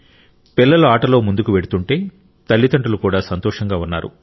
పిల్లలు ఆటలో ముందుకు వెళుతుంటే తల్లిదండ్రులు కూడా సంతోషంగా ఉన్నారు